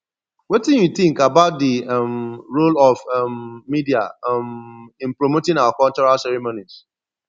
wetin you think about di um role of um media um in promoting our cultural ceremonies